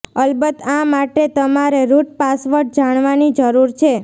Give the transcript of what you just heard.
અલબત્ત આ માટે તમારે રુટ પાસવર્ડ જાણવાની જરૂર છે